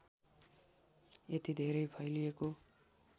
यति धेरै फैलिएको